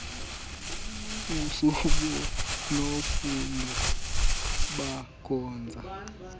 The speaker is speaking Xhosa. usibu nofundi bakhonza